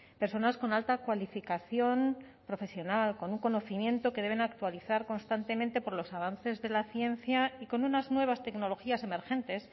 personas con alta cualificación profesional con un conocimiento que deben actualizar constantemente por los avances de la ciencia y con unas nuevas tecnologías emergentes